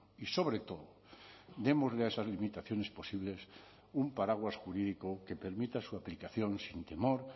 y sobre todo démosle a esas limitaciones posibles un paraguas jurídico que permita su aplicación sin temor